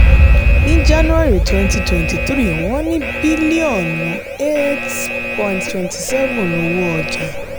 ní january twenty twenty three wọ́n ní bílíọ̀nù eight point two seven owó ọjà.